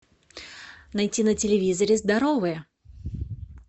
найти на телевизоре здоровые